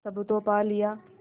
सब तो पा लिया